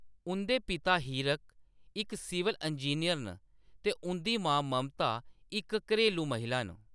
उंʼदे पिता, हीरक, इक सिविल इंजीनियर न, ते उंʼदी मां, ममता, इक घरेलू महिला न।